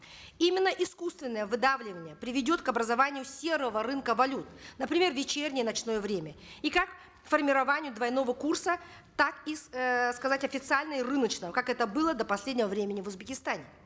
именно искусственное выдавливание приведет к образованию серого рынка валют например в вечернее ночное время и как формированию двойного курса так и эээ сказать официально и рыночному как это было до последнего времени в узбекистане